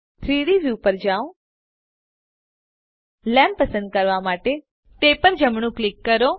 3ડી વ્યુ પર જાઓ લેમ્પ પસંદ કરવા માટે તે પર જમણું ક્લિક કરો